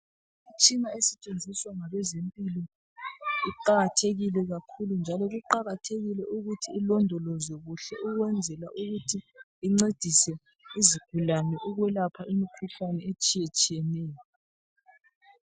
Imitshina esetshenziswa ngabezempilo iqakathekile kakhulu njalo kuqakathekile ukuthi ilondolozwe kuhle ukwenzela ukuthi incedise izigulane ukwelapha imikhuhlane etshiyetshiyeneyo.